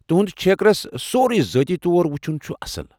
تُہُند چھیكرس سورُے ذٲتی طور وُچُھن چُھ اصل۔